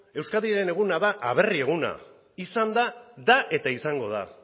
euskadiren eguna da aberri eguna izan da da eta izango da